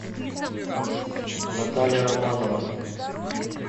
наталья романова